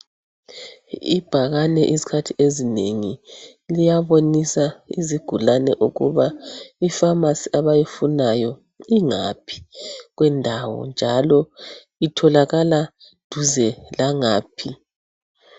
Ibhakane izikhathi ezinengi liyabonisa izigulane ukuba ipharmacy abayifunayo ingaphi kwendawo njalo itholakala duze langaphi